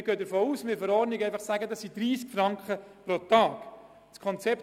Wir planen dies in der Verordnung mit 30 Franken pro Tag zu regeln.